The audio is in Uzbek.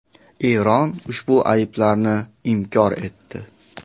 Eron ushbu ayblovlarni inkor etdi.